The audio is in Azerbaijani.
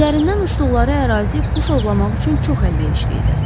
Üzərindən uçduqları ərazi quş ovlamaq üçün çox əlverişli idi.